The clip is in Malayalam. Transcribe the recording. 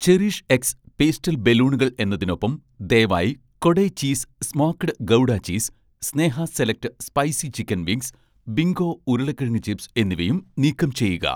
ചെറിഷ്എക്സ്' പേസ്റ്റൽ ബലൂണുകൾ എന്നതിനൊപ്പം, ദയവായി 'Kodai' cheese smoked gouda cheese, 'Sneha select' spicy chicken wings, 'Bingo' ഉരുളക്കിഴങ്ങ് ചിപ്സ് എന്നിവയും നീക്കം ചെയ്യുക